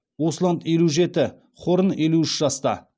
усланд елу жеті хорн елу үш жаста